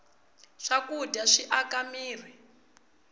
swakudya swi aka mirhi